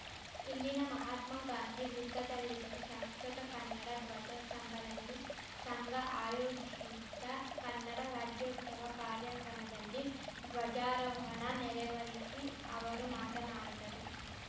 ಇಲ್ಲಿನ ಮಹಾತ್ಮಗಾಂಧಿ ವೃತ್ತದಲ್ಲಿರುವ ಶಾಶ್ವತ ಕನ್ನಡ ಧ್ವಜ ಸ್ತಂಭದಲ್ಲಿ ಸಂಘ ಆಯೋಜಿಶಿದ್ದ ಕನ್ನಡ ರಾಜ್ಯೋತ್ಸವ ಕಾರ್ಯಕ್ರಮದಲ್ಲಿ ಧ್ವಜಾರೋಹಣ ನೆರವೇರಿಶಿ ಅವರು ಮಾತನಾಡಿದರು